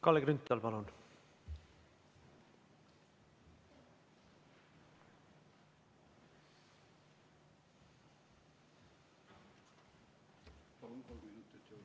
Kalle Grünthal, palun!